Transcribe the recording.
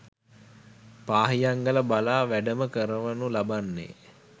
පාහියන්ගල බලා වැඩම කරවනු ලබන්නේ